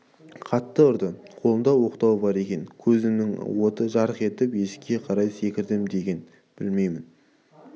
қатты ұрды қолында оқтау бар екен көзімнің оты жарқ етті есікке қарай секірдім деген бе білмеймін